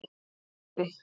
Skeiði